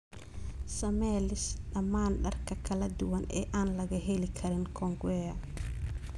samee liis dhammaan dharka kala duwan ee aan laga heli karin kongowea